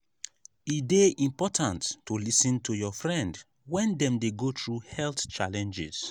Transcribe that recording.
e important to lis ten to your friend when dem dey go through health challenges.